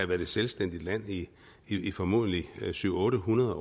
været et selvstændigt land i i formodentlig syv hundrede